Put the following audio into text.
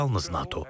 Yalnız NATO.